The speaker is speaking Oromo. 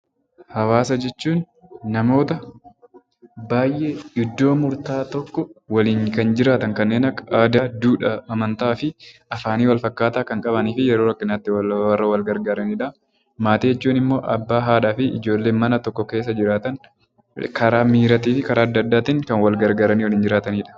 Hawaasa jechuun namoota baay'ee iddoo murtaa'aa tokko waliin kan jiraatan kanneen akka aadaa, duudhaa, amantaa fi afaanii walfakkaataa kan qabanii fi yeroo rakkinaatti warra wal gargaaranii dha. Maatii jechuun immoo abbaa, haadhaa fi ijoollee mana tokko keessa jiraatan karaa miiraatii fi karaa adda addaatiin kan wal gargaaranii jiraatanii dha.